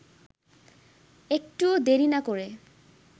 একটুও দেরি না করে